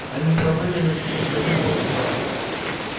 они пробыли на птичьем дворе с полчаса